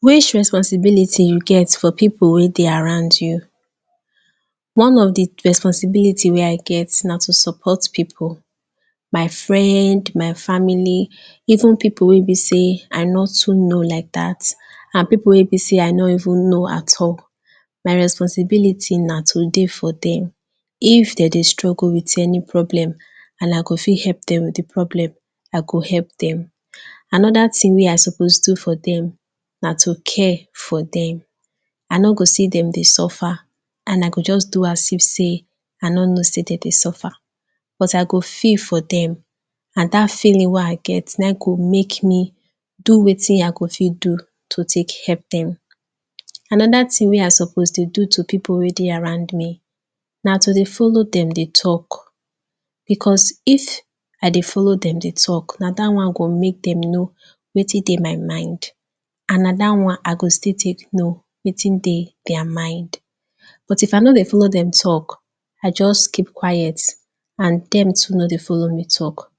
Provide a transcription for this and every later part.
which responsinility you get for people wey dey around you one of the responsibility wey i get na to support people my friend my family even people wey be i no too know like that and people wey be sey i no even know at all my responsibility na to dey for them if dem dey struggle with any problem and i go fit help them with the problem i go help them another ting wey i suppose do for them na to care for them i no go see them dey suffer and i go just do as you say i no know say dey dey suffer i go feel for them and that feeling wey i get wey go make me do wetin i go fit do to take help them another ting wey i suppose to do to people wey dey around me na to dey follow dem dey talk because if i dey follow dem dey talk na that one go make them know wetin dey my mind and na that one i go still take know wetin dey their mind but ifm i no dey follow dem talk i just keep quiet and them too no dey follow me talk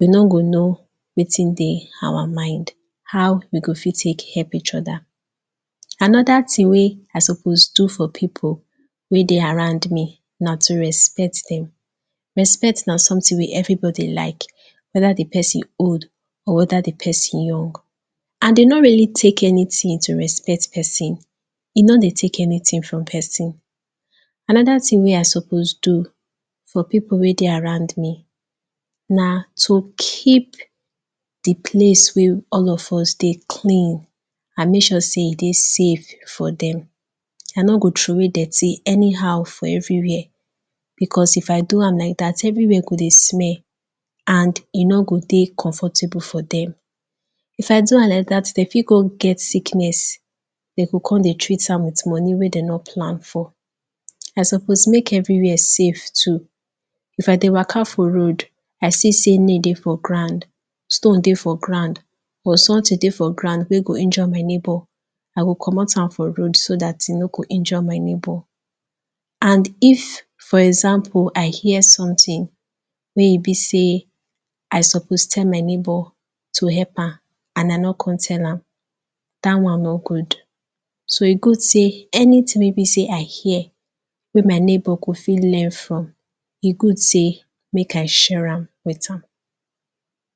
they no go know wetin dey our mind how we go fit take help each other another ting wey i suppose do for people wey dey around me na to respect them respect na something wey everybody like whether the person old or whether the person young and e no really tak any ting to respect pesin e no dey take anyting from pesin another ting ey i suppose do for people wey dey around me na to keep the place wey all of us dey clean and make sure sey e dey safe for them i no go throway dirty anyhow for every where because if i do am like that every where go dey smell and e no go dey comfortable for them if i do am like that they fit go get sickness dem go come dey treat am with money wey dey no plan for i suppose make every where safe too if i dey waka for road i see sey nail dey for ground stone dey for ground or someting dey for ground ey go injure my neighbor i go comot am for road so that e no go injure my neighbor and if for example i hear someting wey e be sey i suppose tell my neighbor to help am and i no come tell am that on no good so e good sey anyting wey e be sey i hear wey my neighbor go fit learn from e good sey make i share am with am